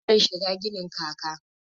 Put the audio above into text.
Harsashe bai shigan ginin kaka